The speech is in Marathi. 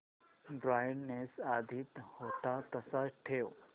ब्राईटनेस आधी होता तसाच ठेव